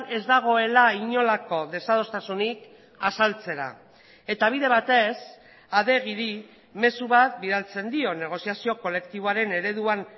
ez dagoela inolako desadostasunik azaltzera eta bide batez adegiri mezu bat bidaltzen dio negoziazio kolektiboaren ereduan